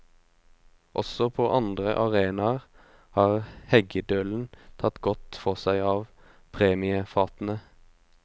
Også på andre arenaer har heggedølen tatt godt for seg av premiefatene.